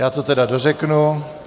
Já to tedy dořeknu.